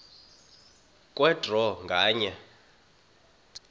kwe draw nganye